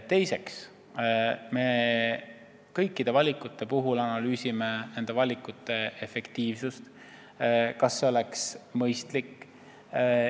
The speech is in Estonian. Teiseks, kõikide valikute puhul me analüüsime efektiivsust, mis on mõistlik.